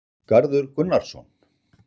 Garður Gunnarsson,